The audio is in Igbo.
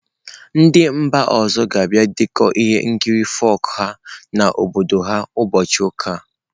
Ndị mba ọzọ ga-abịa dekọọ ihe nkiri folk ha n'obodo ha ụbọchị ụka a.